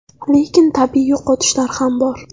Lekin tabiiy yo‘qotishlar ham bor.